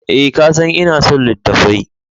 Eh, ka san ina son littattafai.